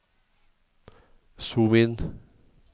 zoom inn